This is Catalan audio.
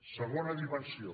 segona dimensió